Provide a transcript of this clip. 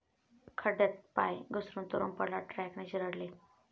खड्ड्यात पाय घसरून तरुण पडला, ट्रकने चिरडले